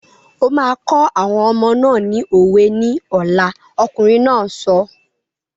O máa kọ́ àwọn ọmọ náà ni òwe ní ọ̀la! Ọkùnrin náà sọ.